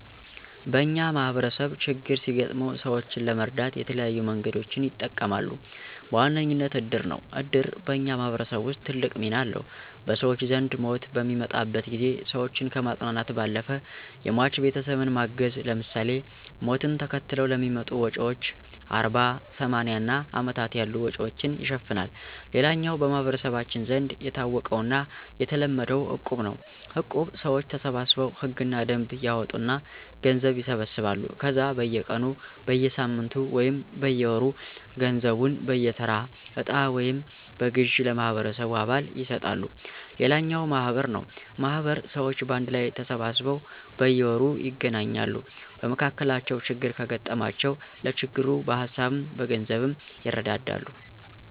በኛ ማህበረሰብ ችግር ሲገጥመው ሰወችን ለመርዳት የተለያዩ መንገዶችን ይጠቀማሉ። በዋነኝነት እድር ነው። እድር በኛ ማህበረሰብ ውስጥ ትልቅ ሚና አለው። በሰወች ዘንድ ሞት በሚመጣበት ጊዜ ሰወችን ከማፅናናት ባለፈ የሟች ቤተሰብን ማገዝ ለምሳሌ፦ ሞትን ተከትለው ለሚመጡ ወጭወች አርባ፣ ሰማኒያ እና አመታት ያሉ ወጭወችን ይሸፍናል። ሌላኛው በመህበረሰባችን ዘንድ የታወቀውና የተለመደው እቁብ ነው። እቁብ ሰወች ተሰባስበው ህግና ደንብ ያወጡና ገንዘብ ይሰበስባሉ ከዛ በየ ቀኑ፣ በየሳምንቱ ወይም በየወሩ ገንዘቡን በየተራ እጣ ወይም በግዠ ለማህበረሰቡ አባል ይሰጣሉ። ሌላኛው ማህበር ነው ማህበር ሰወች በአንድ ላይ ተሰባስበው በየወሩ ይገናኛሉ። በመካከላቸው ችግር ከገጠማቸው ለችግሩ በሀሳብም በገንዘብም ይረዳዳሉ።